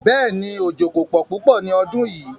Bẹ́ẹ̀ni, ojó kò pọ̀ púpọ̀ ní ọdún yíì.